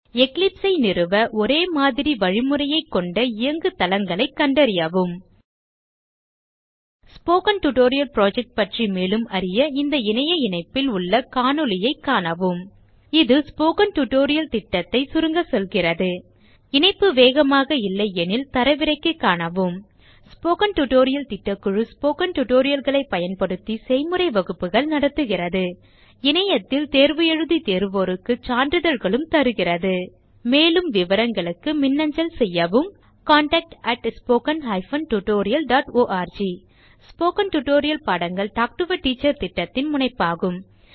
eclipse ஐ நிறுவ ஒரே மாதிரி வழிமுறைக் கொண்ட இயங்கு தளங்களைக் கண்டறியவும் ஸ்போக்கன் டியூட்டோரியல் புரொஜெக்ட் பற்றி மேலும் அறிய இந்த இணைப்பில் உள்ள காணொளியைக காணவும் இது ஸ்போக்கன் டியூட்டோரியல் திட்டத்தை சுருங்க சொல்கிறது இணைப்பு வேகமாக இல்லையெனில் தரவிறக்கி காணவும் ஸ்போக்கன் டியூட்டோரியல் திட்டக்குழு ஸ்போக்கன் tutorial களைப் பயன்படுத்தி செய்முறை வகுப்புகள் நடத்துகிறது இணையத்தில் தேர்வு எழுதி தேர்வோருக்கு சான்றிதழ்களும் அளிக்கிறது மேலும் விவரங்களுக்கு மின்னஞ்சல் செய்யவும் contactspoken tutorialorg ஸ்போகன் டுடோரியல் பாடங்கள் டாக் டு எ டீச்சர் திட்டத்தின் முனைப்பாகும்